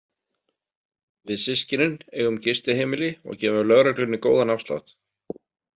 Við systkinin eigum gistiheimili og gefum lögreglunni góðan afslátt.